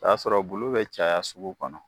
O y'a sɔrɔ bulu bɛ caya sugu kɔnɔ.